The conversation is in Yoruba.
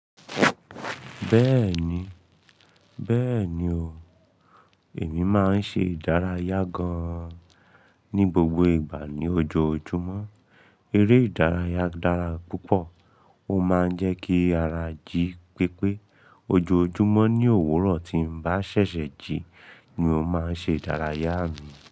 Bẹ́ẹ̀ni, bẹ́ẹ̀ni o, èmi máa ń ṣe ìdárayá gan-an ní gbogbo ìgbà ní ojoojúmọ́. Eré ìdárayá dára púpọ̀, ó máa ń jẹ́ kí ara jí pépé. Ojoojúmọ́ ní òwúrọ̀ tí n bá ṣẹ̀ṣẹ̀ jí ni mó máa ń ṣe ìdárayá mi.